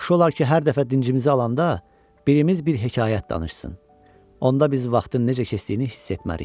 Yaxşı olar ki, hər dəfə dincimizi alanda birimiz bir hekayət danışsın, onda biz vaxtın necə keçdiyini hiss etmərik.